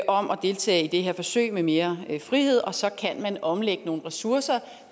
deltage i det her forsøg med mere frihed og så kan man omlægge nogle ressourcer